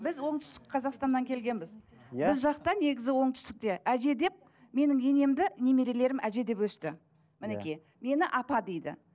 біз оңтүстік қазақстаннан келгенбіз біз жақта негізі оңтүстікте әже деп менің енемді немерелерім әже деп өсті мінекей мені апа дейді